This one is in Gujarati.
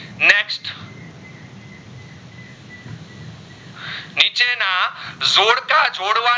કા છોડવા